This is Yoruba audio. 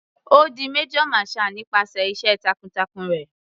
Ó di major marshall nípasẹ̀ iṣẹ́ takun-takun rẹ̀.